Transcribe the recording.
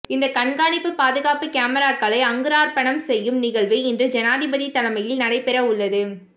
இந்த கண்காணிப்பு பாதுகாப்பு கமராக்களை அங்குரார்ப்பணம் செய்யும் நிகழ்வு இன்று ஜனாதிபதி தலைமையில் நடைபெறவுள்ளது